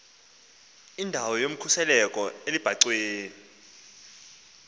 indawo yokhuseleko elubhacweni